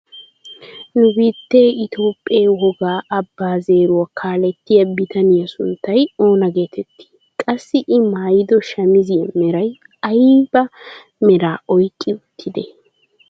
Nu biittee Itoophphee wogga abbaa zeeruwaa kalettiyaa bitaniyaa sunttay oona getettii? Qassi i maayido shamiziyaa meray ayba meraa oyqqi uttidee?